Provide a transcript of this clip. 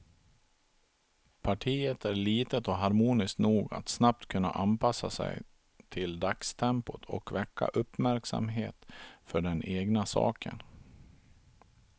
Partiet är litet och harmoniskt nog att snabbt kunna anpassa sig till dagstempot och väcka uppmärksamhet för den egna saken.